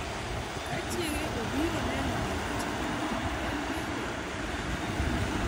Kane chiege obiro neno gima timore, en bende ne omake.